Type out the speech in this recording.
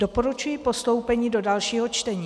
Doporučuji postoupení do dalšího čtení.